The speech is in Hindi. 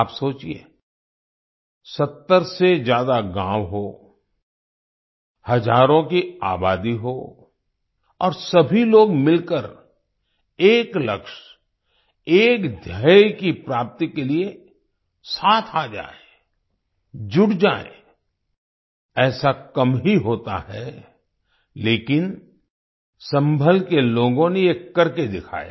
आप सोचिए 70 से ज्यादा गाँव हों हजारों की आबादी हो और सभी लोग मिलकर एक लक्ष्य एक ध्येय की प्राप्ति के लिए साथ आ जाएँ जुट जाएँ ऐसा कम ही होता है लेकिन सम्भल के लोगों ने ये करके दिखाया